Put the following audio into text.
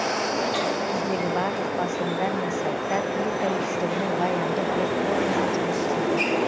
біздегі барлық басылымдар мен сайттар ел тәуелсіздігінің баянды берік болуына жұмыс істейді